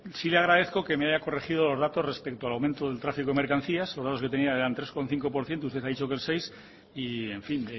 sí le agradezco que me haya corregido los datos respecto al aumento del tráfico de mercancías los datos eran de tres coma cinco por ciento usted ha dicho que el seis por ciento y en fin